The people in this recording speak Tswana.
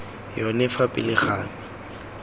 yone fa pele ga me